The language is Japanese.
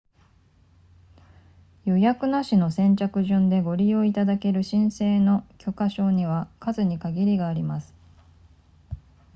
予約なしの先着順でご利用いただける申請の許可証には数に限りがあります